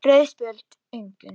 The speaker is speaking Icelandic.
Rauð spjöld: Engin.